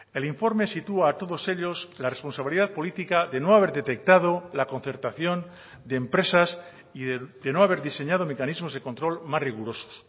el informe sitúa a todos ellos la responsabilidad política de no haber detectado la concertación de empresas y de no haber diseñado mecanismos de control más rigurosos